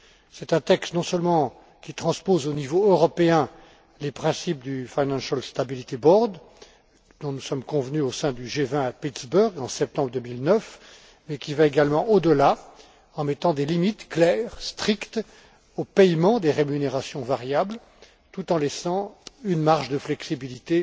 C'est un texte non seulement qui transpose au niveau européen les principes du Financial Stability Board dont nous sommes convenus au sein du G20 à Pittsburgh, en septembre 2009, et qui va également au delà en mettant des limites claires, strictes au paiement des rémunérations variables, tout en laissant une marge de flexibilité